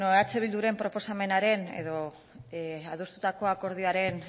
bueno eh bilduren proposamenaren edo adostutako akordioaren